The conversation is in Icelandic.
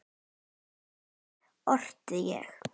Sem barn orti ég.